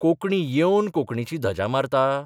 कोंकणी येवन कोंकणीची धजा मारता?